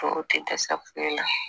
Tɔw tɛ dɛsɛ